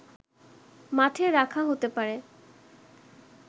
মাঠে রাখা হতে পারে